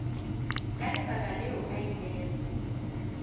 ka lebaka leo a ilego